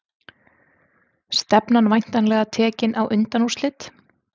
Stefnan væntanlega tekin á undanúrslit?